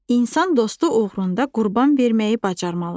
İnsan dostu uğrunda qurban verməyi bacarmalıdır.